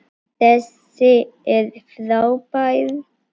Þessi er frábær!